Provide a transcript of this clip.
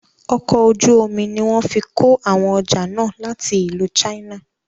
Ọkọ̀ ojú omi ní wọ́n fí kó àwọn ọjà náà láti ìlú china.